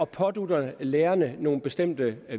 pådutter lærerne nogle bestemte